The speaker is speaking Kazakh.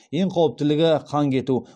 ең қауіптілігі қан кету